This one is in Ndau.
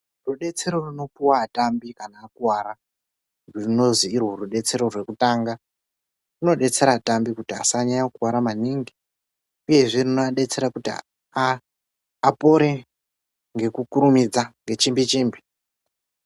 Rudetsero runopiwa atambi kana akuwara runozwi iro rubetsero rokutanga, runobetsera atambi kuti asanyanya kukuwara maningi uyezve kuti akasire kupore ngekukurumidza, ngechimbi chimbi.